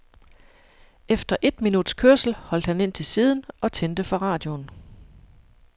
Efter et minuts kørsel holdt han ind til siden og tændte for radioen.